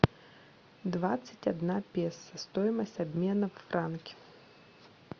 двадцать одна песо стоимость обмена в франки